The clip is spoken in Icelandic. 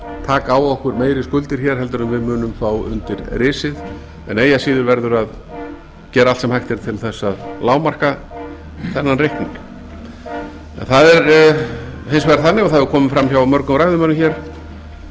taka á okkur meiri skuldir hér en við munum fá undir risið en eigi að síður verður að gera allt sem hægt er til þess að lágmarka þennan reikning það er hins vegar þannig og það hefur komið fram hjá mörgum ræðumönnum hér